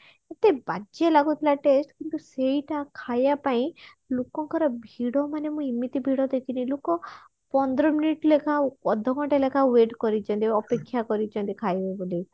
ଏତେ ବାଜ୍ଯେ ଲାଗୁଥିଲା test କିନ୍ତୁ ସେଇଟା ଖାଇବା ପାଇଁ ଲୋକଙ୍କ ର ଭିଡ ମାନେ ମୁଁ ଏମିତି ଭିଡ ଦେଖିନୀ ଲୋକ ପନ୍ଦର minute ଲେଖା ଅଧ ଘଣ୍ଟା ଲେଖା wait କରିଛନ୍ତି ଅପେକ୍ଷା କରିଛନ୍ତି ଖାଇବେ ବୋଲି